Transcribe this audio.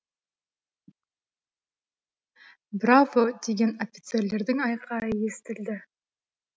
браво деген офицерлердің айқайы естілді